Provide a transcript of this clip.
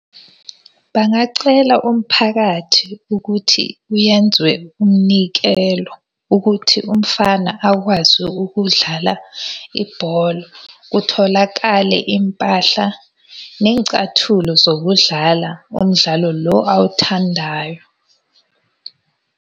Bangacela umphakathi ukuthi kuyenziwe umnikelo. Ukuthi umfana akwazi ukudlala ibholo, kutholakale iy'mpahla ney'cathulo zokudlala umdlalo lo awuthandayo.